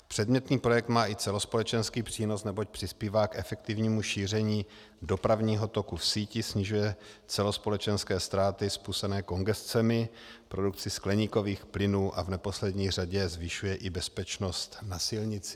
Předmětný projekt má i celospolečenský přínos, neboť přispívá k efektivnímu šíření dopravního toku v síti, snižuje celospolečenské ztráty způsobené kongescemi, produkci skleníkových plynů a v neposlední řadě zvyšuje i bezpečnost na silnici.